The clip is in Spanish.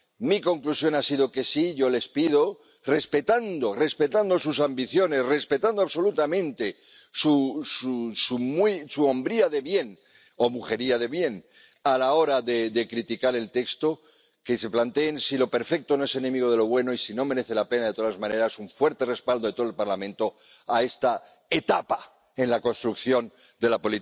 Mi conclusión ha sido que sí, y yo les pido, respetando sus ambiciones, respetando absolutamente su hombría de bien —o mujería de bien— a la hora de criticar el texto, que se planteen si lo perfecto no es enemigo de lo bueno y si no merece la pena, de todas maneras, un fuerte respaldo de todo el Parlamento a esta etapa en la construcción de la